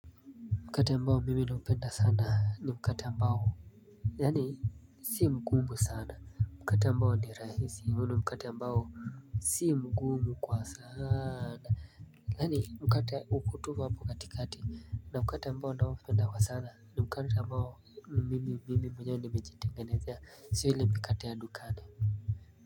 Mkate ambao mimi nampenda sana ni mkate ambao Yani sii mgumu sana Mkate ambao ni rahisi mno ni mkate ambao sii mgumu kwa sana Yani mkate ukutufa mbu kati kati na mkati ambao na mpenda kwa sana ni mkati ambao ni mimi mimi mwenyewe nimejitengenezea si ile mkati ya dukani.